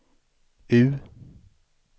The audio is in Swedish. U